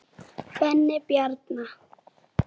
Benni Bjarna.